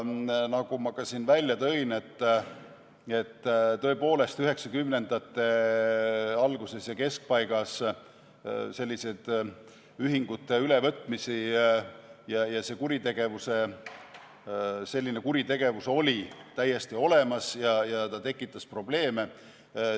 Nagu ma ka siin välja tõin, tõepoolest, üheksakümnendate alguses ja keskpaigas sellised ühingute ülevõtmised ja selline kuritegevus olid täiesti olemas ja see tekitas probleeme.